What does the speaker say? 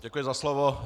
Děkuji za slovo.